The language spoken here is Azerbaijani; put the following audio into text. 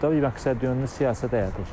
Burada məqsədyönlü siyasət həyata keçirilir.